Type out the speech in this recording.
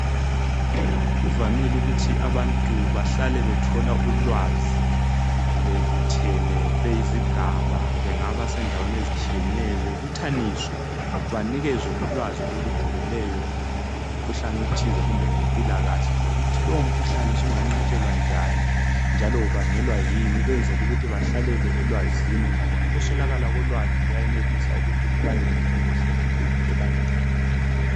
kuvamile ukuthi abantu bahlale bethola ulwazi bebuthene beyizigaba bengaba sendaweni ezitshiyeneyo bebuthaniswe banikezwe ulwazi olujulileyo ngomkhuhlane othize kumbe ngempilakahle lokuthi lowo mkhuhlane usunganqatshelwa njani njalo ubangelwa kuyini ukwenzela ukuthi bahlalele elwazini ngoba ukuswelakala kolwazi kuyayenelisa ukuthi kubangele ingozi enkulu ebantwini